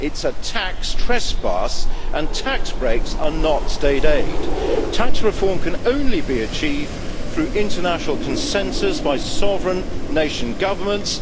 It is a tax trespass, and tax breaks are not state aid. Tax reform can only be achieved through international consensus by sovereign nation governments.